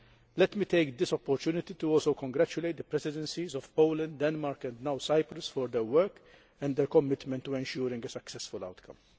Let me take this opportunity also to congratulate the Presidencies of Poland, Denmark and now Cyprus for their work and their commitment to ensuring a successful outcome.